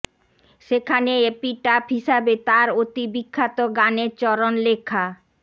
সেখানে এপিটাফ হিসাবে তার অতি বিখ্যাত গানের চরণ লেখা